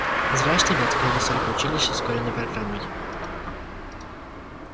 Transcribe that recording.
зря что ли открыли столько училищ с ускоренной программой